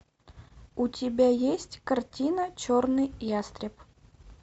у тебя есть картина черный ястреб